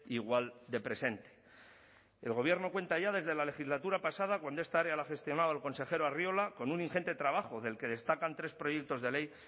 igual de presente el gobierno cuenta ya desde la legislatura pasada cuando esta área la gestionaba el consejero arriola con un ingente trabajo del que destacan tres proyectos de ley